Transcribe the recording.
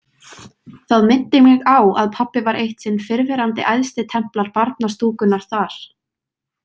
Það minnti mig á að pabbi var eitt sinn fyrrverandi æðstitemplar barnastúkunnar þar.